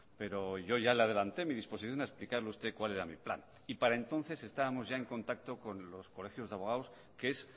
pero yo ya le adelanté mi disposición a explicarle a usted cuál era mi plan y para entonces estábamos ya en contacto con los colegios de abogados que es